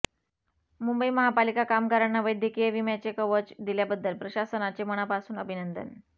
मुंबई महापालिका कामगारांना वैद्यकीय विम्याचे कवच दिल्याबद्दल प्रशासनाचे मनापासून अभिनंदन